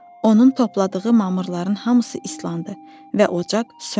Onun topladığı mamırların hamısı islandı və ocaq söndü.